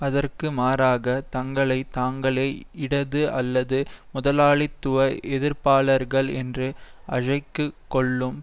அதற்கு மாறாக தங்களை தாங்களே இடது அல்லது முதலாளித்துவ எதிர்ப்பாளர்கள் என்று அழைத்துக்கொள்ளும்